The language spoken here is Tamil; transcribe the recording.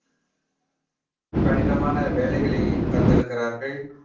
கடினமான வேலைகளை தந்திருக்கிறார்கள்